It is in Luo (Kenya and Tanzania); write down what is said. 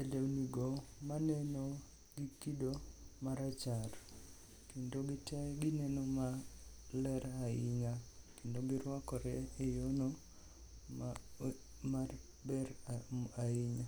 e lewnigo maneno gi kido marachar kendo gite gineno maler ahinya kendo girwakore e yono maber ahinya.